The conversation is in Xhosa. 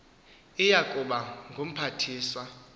iya kuba ngumphathiswa